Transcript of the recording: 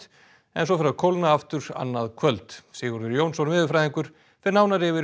en fer að kólna aftur annað kvöld Sigurður Jónsson veðurfræðingur fer nánar yfir